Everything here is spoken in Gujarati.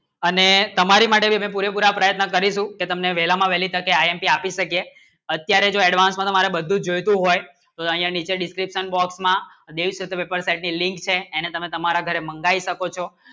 અને તમારી માટે પૂરેપૂરા પ્રયત્ન કરીશું કે તમને વહેલામાં વહેલી તકે આઈએમપી આપી શકે અત્યારે જો advance માં તમારે બધું જ જોઈતું હોય તો અહીંયા નીચે descriptionlink છે એને તમે તમારા ઘરે મંગાવી શકો છો